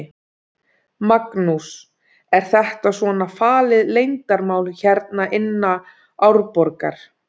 Magnús: Er þetta svona falið leyndarmál hérna inna Árborgar?